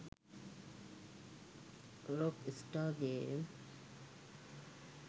rock star game